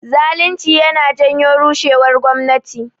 Zalinci yana janyo rushewar gwamnati